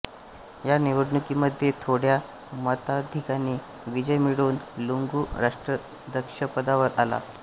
ह्या निवडणुकीमध्ये थोड्या मताधिक्याने विजय मिळवून लुंगू राष्ट्राध्यक्षपदावर आला